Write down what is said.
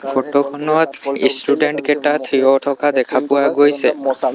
Photo খনত student কিটা থিয় হৈ থকা দেখা পোৱা গৈছে।